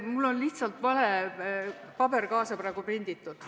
Mul on lihtsalt vale paber kaasa prinditud.